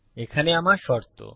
এখানে আমার শর্ত